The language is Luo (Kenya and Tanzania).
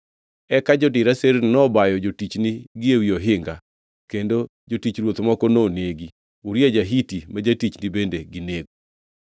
Eka jodir aserni nobayo jotichni gi ewi ohinga, kendo jotich ruoth moko nonegi. Uria ja-Hiti ma jatichni bende ginego.”